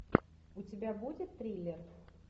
у тебя будет триллер